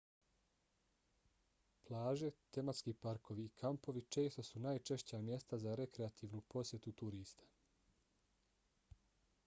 plaže tematski parkovi i kampovi često su najčešća mjesta za rekreativnu posjetu turista